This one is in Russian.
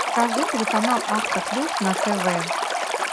покажи телеканал авто плюс на тв